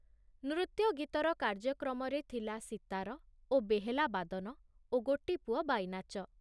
ନୃତ୍ୟଗୀତର କାର୍ଯ୍ୟକ୍ରମରେ ଥିଲା ସୀତାର ଓ ବେହେଲା ବାଦନ ଓ ଗୋଟିପୁଅ ବାଇନାଚ ।